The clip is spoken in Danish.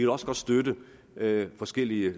også godt støtte forskellige